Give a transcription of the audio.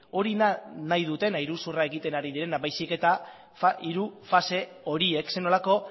hori da nahi dutena iruzurra egiten ari direna baizik eta hiru fase horiek zer nolako